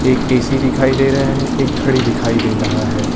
एक ए_सी दिखाई दे रहा है एक घड़ी दिखाई दे रहा है।